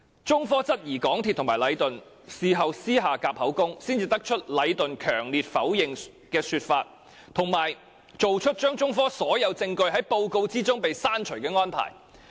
中科質疑港鐵公司和禮頓事後是否私下"夾口供"，才得出禮頓強烈否認的說法，以及作出將中科所有證供從報告刪除的安排。